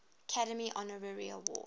academy honorary award